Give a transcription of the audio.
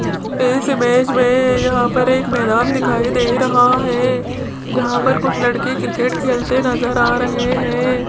इस इमेज में यहां पर एक मैदान दिखाई दे रहा है जहां पर कुछ लड़के क्रिकेट खेलते नजर आ रहे हैं।